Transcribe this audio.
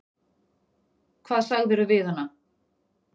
Hvað sagðirðu við hana?